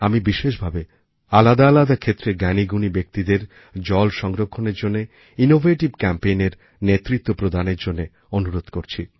আমি বিশেষ ভাবে আলাদা আলাদা ক্ষেত্রের জ্ঞানীগুণী ব্যক্তিদের জল সংরক্ষণের জন্য ইনোভেটিভ Campaignএর নেতৃত্ব প্রদানের জন্য অনুরোধ করছি